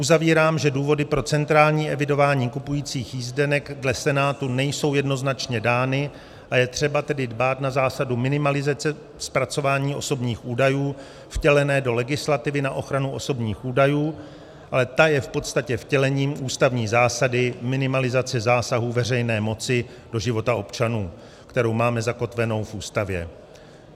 Uzavírám, že důvody pro centrální evidování kupujících jízdenek dle Senátu nejsou jednoznačně dány, a je třeba tedy dbát na zásadu minimalizace zpracování osobních údajů vtělené do legislativy na ochranu osobních údajů, ale ta je v podstatě vtělením ústavní zásady minimalizace zásahů veřejné moci do života občanů, kterou máme zakotvenou v Ústavě.